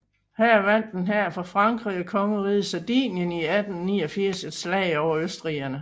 Her vandt en hær fra Frankrig og kongeriget Sardinien i 1859 et slag over østrigerne